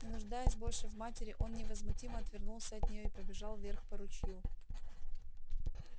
не нуждаясь больше в матери он невозмутимо отвернулся от нее и побежал вверх по ручью